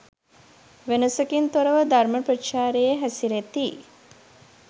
වෙනසකින් තොරව ධර්ම ප්‍රචාරයේ හැසිරෙති.